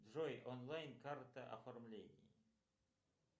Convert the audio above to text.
джой онлайн карта оформление